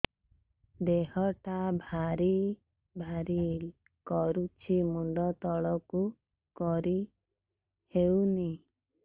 ଦେହଟା ଭାରି ଭାରି କରୁଛି ମୁଣ୍ଡ ତଳକୁ କରି ହେଉନି